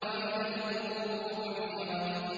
وَإِذَا الْقُبُورُ بُعْثِرَتْ